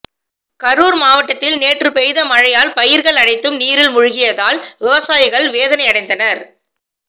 கரூர் மாவட்டத்தில் நேற்று பெய்த மழையால் பயிர்கள் அனைத்தும் நீரில் மூழ்கியதால் விவசாயிகள் வேதனையடைந்தனர்